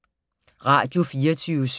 Radio24syv